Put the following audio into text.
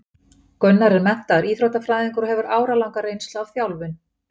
Gunnar er menntaður íþróttafræðingur og hefur áralanga reynslu af þjálfun.